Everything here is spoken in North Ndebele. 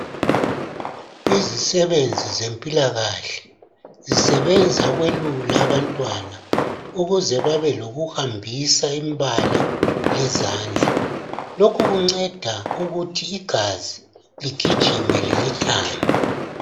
Izisebenzi zempilakahle zisebenza ukwelula abantwana ukuze babe lokuhambisa imbala lezandla lokhu kunceda ukuthi igazi ligijime lemthambo.